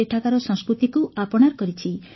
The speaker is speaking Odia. ସେଠାକାର ସଂସ୍କୃତିକୁ ଆପଣାର କରିଛି